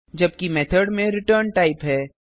जबकि मेथड में return type है